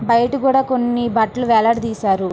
బయట కూడా కొన్ని బట్టలు వేలాడదీశారు.